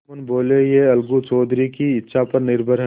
जुम्मन बोलेयह अलगू चौधरी की इच्छा पर निर्भर है